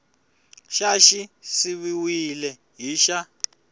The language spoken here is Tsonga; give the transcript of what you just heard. xa xi siviwile hi xa